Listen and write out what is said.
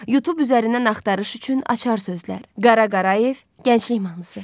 Youtube üzərindən axtarış üçün açar sözlər: Qara Qarayev, Gənclik mahnısı.